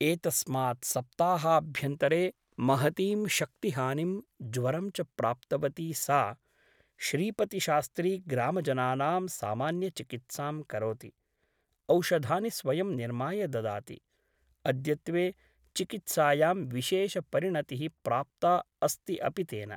एतस्मात् सप्ताहाभ्यन्तरे महतीं शक्तिहानिं ज्वरं च प्राप्तवती सा । श्रीपतिशास्त्री ग्रामजनानां सामान्यचिकित्सां करोति । औषधानि स्वयं निर्माय ददाति । अद्यत्वे चिकित्सायां विशेषपरिणतिः प्राप्ता अस्ति अपि तेन ।